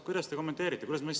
Kuidas te kommenteerite?